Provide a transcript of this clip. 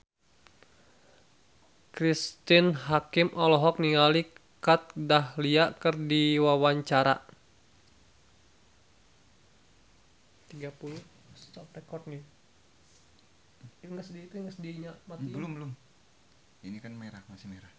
Cristine Hakim olohok ningali Kat Dahlia keur diwawancara